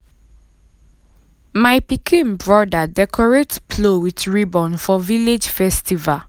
my pikin brother decorate plow with ribbon for village festival.